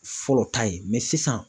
Fɔlɔ ta ye sisan